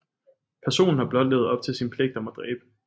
Personen har blot levet op til sin pligt om at dræbe